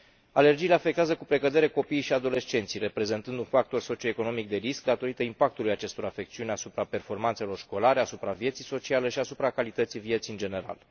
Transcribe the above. Alergiile afectează cu precădere copiii și adolescenții, reprezentând un factor socio economic de risc, datorită impactului acestor afecțiuni asupra performanțelor școlare, asupra vieții sociale și asupra calității vieții în general.